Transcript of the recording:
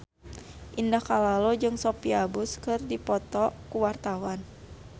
Indah Kalalo jeung Sophia Bush keur dipoto ku wartawan